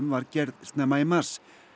var gerð snemma í mars